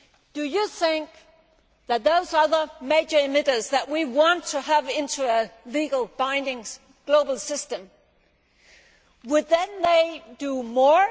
Do you think that those other major emitters that we want to bring into a legally binding global system would then do more?